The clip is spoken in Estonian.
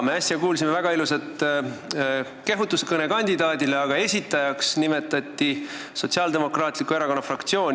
Me kuulsime äsja väga ilusat kehutuskõnet, aga kandidaadi esitajana nimetati Sotsiaaldemokraatliku Erakonna fraktsiooni.